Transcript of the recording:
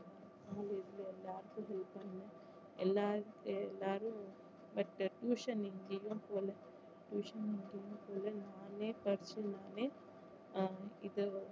college ல எல்லாருக்கும் help பண்ணுவேன் எல்லாரு~ எல்லாரும் but tuition எங்கேயும் போல tuition எங்கேயும் போல நானே படிச்சு நானே ஆஹ் இது